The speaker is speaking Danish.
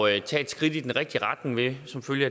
at tage et skridt i den rigtige retning med